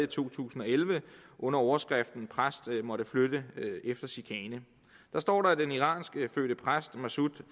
to tusind og elleve under overskriften præst måtte flytte efter chikane der står at den iranskfødte præst massoud